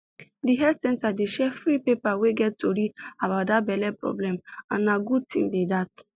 the health center dey share free paper wey get tory about that belle problem and na good thing be that